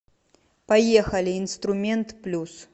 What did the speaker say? поехали инструмент плюс